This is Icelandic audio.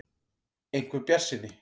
. einhver bjartsýni.